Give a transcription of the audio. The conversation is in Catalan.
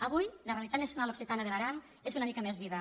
avui la realitat nacional occitana de l’aran és una mica més viva